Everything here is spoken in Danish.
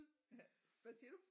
Ja hvad siger du?